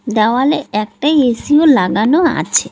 দেওয়ালে একটাই এসিও লাগানো আছে।